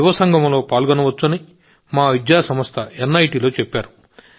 యువ సంగమంలో పాల్గొనవచ్చని మా విద్యాసంస్థ ఎన్ఐటీలో చెప్పారు